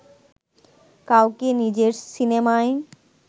কাউকে নিজের সিনেমায়